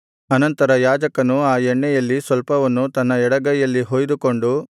ಅನಂತರ ಯಾಜಕನು ಆ ಎಣ್ಣೆಯಲ್ಲಿ ಸ್ವಲ್ಪವನ್ನು ತನ್ನ ಎಡಗೈಯಲ್ಲಿ ಹೊಯ್ದುಕೊಂಡು